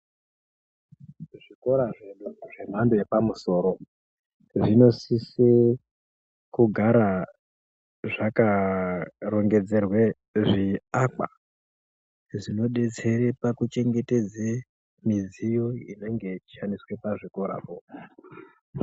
Muzvikora zvedu zvemhando yepamusoro zvinosisa kugara zvakarongodzerwe zviakwa zvinobetsera pakuchengetedze midziyo inenge yeyi shandiswa pachikora poo.